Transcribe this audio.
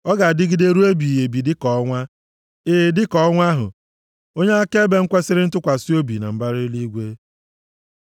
Ọ ga-adịgide ruo ebighị ebi dịka ọnwa. E, dịka ọnwa ahụ, onye akaebe m kwesiri ntụkwasị obi na mbara eluigwe.” Sela